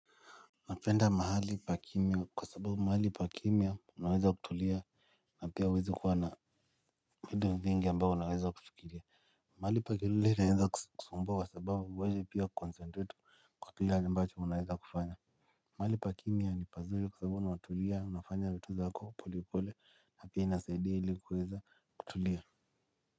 Napenda mahali pa kimya kwa sababu mahali pa kimya unaweza kutulia. Na pia huwezi kuwa na vitu vingi ambayoo unaweza kufikiria. Mahali pa kilele naweza kusumbwa kwa sababu huwezi pia kuconcentrate kwa kile ambacho unaweza kufanya. Mahali pa kimya ni pazuri kwa sababu na watulia unafanya vitu zako polepole na pia inasaidia ilikuweza kutulia.